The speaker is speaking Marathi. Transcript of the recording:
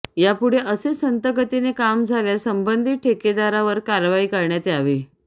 यापुढे असेच संथगतीने काम झाल्यास संबंधित ठेकदारावर कारवाई करण्यात यावी